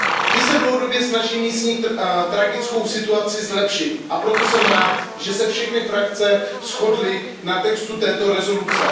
Ty se dlouhodobě snaží místní tragickou situaci zlepšit, a proto jsem rád, že se všechny frakce shodly na textu této rezoluce.